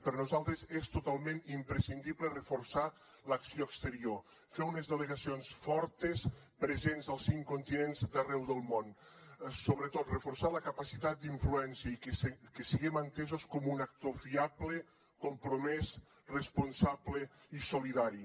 per nosaltres és totalment imprescindible reforçar l’acció exterior fer unes delegacions fortes presents als cinc continents d’arreu del món sobretot reforçar la capacitat d’influència i que siguem entesos com un actor fiable compromès responsable i solidari